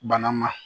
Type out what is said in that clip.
Bana ma